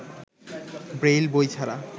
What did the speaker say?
Braille বই ছাড়া